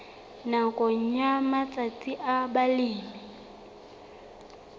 nakong ya matsatsi a balemi